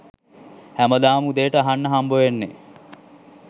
හැමදාම උදේට අහන්න හම්බවෙන්නේ